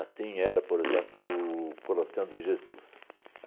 era, por exemplo, o Coração de Jesus.